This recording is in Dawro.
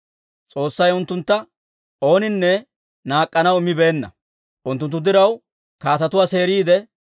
S'oossay unttuntta ooninne naak'k'anaw immibeenna; unttunttu diraw kaatetuwaa seeriidde,